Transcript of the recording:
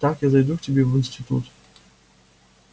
так я зайду к тебе в институт